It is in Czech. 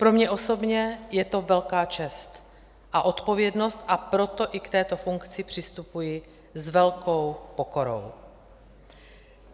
Pro mě osobně je to velká čest a odpovědnost, a proto i k této funkci přistupuji s velkou pokorou.